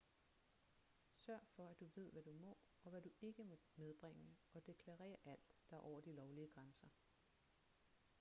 sørg for at du ved hvad du må og hvad du ikke må medbringe og deklarer alt der er over de lovlige grænser